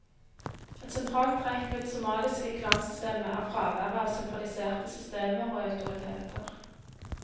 Et sentralt trekk ved det somaliske klansystemet er fraværet av sentraliserte systemer og autoriteter.